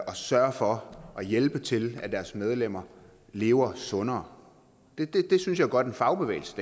at sørge for og hjælpe med til at deres medlemmer lever sundere det synes jeg godt en fagbevægelse